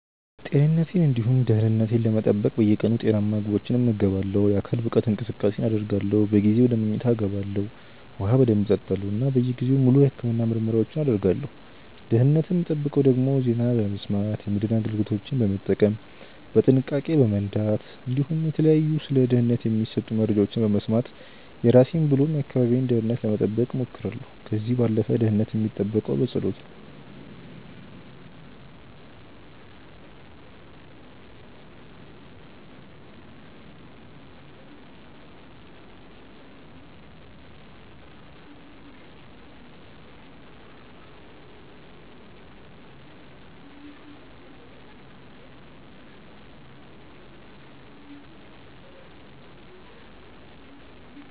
ጤንነቴን እንዲሁም ደህንነት ለመጠበቅ በየቀኑ ጤናማ ምግቦችን እመገባለሁ፣ የአካል ብቃት እንቅስቃሴን አደርጋለሁ፣ በጊዜ ወደ መኝታ ይገባለሁ፣ ውሃ በደንብ እጠጣለሁ እና በየጊዜው ሙሉ የህክምና ምርመራዎችን አደርጋለሁ። ደህንነትን ምጠብቀው ደግሞ ዜና በመስማት፣ የመድህን አገልግሎቶችን በመጠቀም፣ በጥንቃቄ በመንዳት እንዲሁም የተለያዩ ስለ ደህንነት የሚሰጡመረጃዎችን በመስማት የራሴን ብሎ የአካባቢን ደህንነት ለመጠበቅ ሞክራለሁ። ከዚህ ባለፈ ደህንነት የሚጠበቀው በጸሎት ነው